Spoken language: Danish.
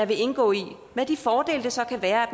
vil indgå i med de fordele der så kan være